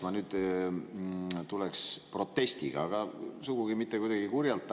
Ma tulen praegu protestiga, aga sugugi mitte kuidagi kurjalt.